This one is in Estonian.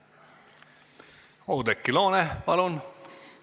Oudekki Loone, palun!